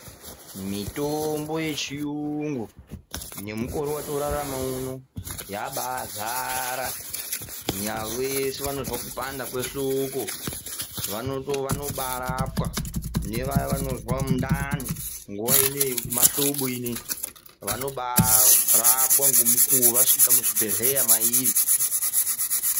Mitombo yechiyungu, nemukore wotoorarama uno yabaazara. Nyaa vese vanozwa kupanda kwehloko vanobaarapwa, nevaya vanozwa mundani nguwa inei yemahlobo inei, vanobaarapwa ngomukuwo vasvika muzvibhedhleya mairi.